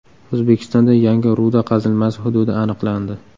O‘zbekistonda yangi ruda qazilmasi hududi aniqlandi.